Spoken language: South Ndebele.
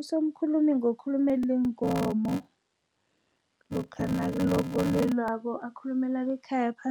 Usomkhulumi ngokuthumela iinkomo lokha akhulumela bekhayapha,